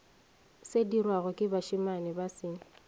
sedirwago ke bašemane ba se